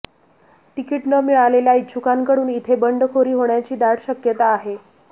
ticket न मिळालेल्या इच्छुकांकडून इथे बंडखोरी होण्याची दाट शक्यता आहे